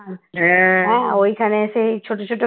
ওইখানে সেই ছোট ছোট